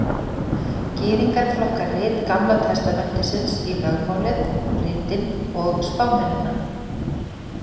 Gyðingar flokka rit Gamla testamentisins í lögmálið, ritin og spámennina.